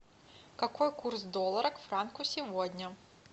какой курс доллара к франку сегодня